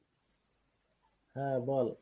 হ্যাঁ বল।